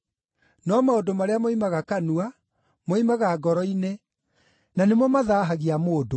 No maũndũ marĩa moimaga kanua moimaga ngoro-inĩ, na nĩmo ‘mathaahagia’ mũndũ.